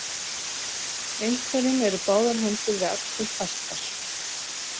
Einhverjum eru báðar hendur við axlir fastar